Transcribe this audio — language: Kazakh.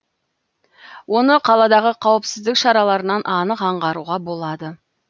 оны қаладағы қауіпсіздік шараларынан анық аңғаруға болады